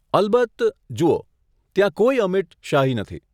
અલબત્ત. જુઓ, ત્યાં કોઈ અમિટ શાહી નથી.